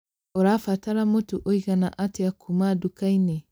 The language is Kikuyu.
Ũrabatara mũtu ũigana atĩa kuuma nduka-inĩ?